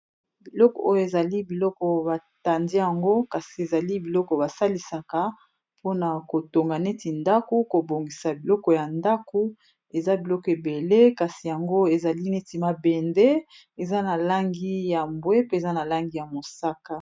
Biloko oyo, ezali biloko batandi yango. Kasi ezali biloko basalisaka mpona kotonga neti ndaku, kobongisa biloko ya ndaku. Eza biloko ebele, kasi yango ezali neti mabende. Eza na langi ya mbwe pe, eza na langi ya mosaka.